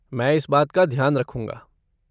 मैं इस बात का ध्यान रखूंगा।